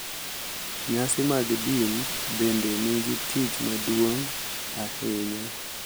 Nyasi mag din bende nigi tich maduong’ ahinya.